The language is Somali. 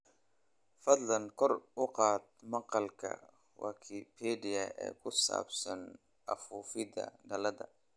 fadlan kor u qaad maqaalka wikipedia ee ku saabsan afuufidda dhalada